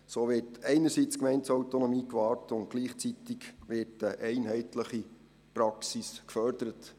So wird einerseits die Gemeindeautonomie gewahrt, andererseits wird gleichzeitig eine einheitliche Praxis gefördert.